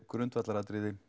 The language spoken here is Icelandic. grundvallaratriði